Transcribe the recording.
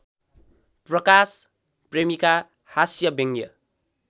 प्रकाश प्रेमीका हास्यव्यङ्ग्य